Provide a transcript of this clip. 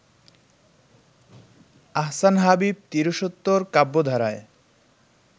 আহসান হাবীব তিরিশোত্তর কাব্যধারায়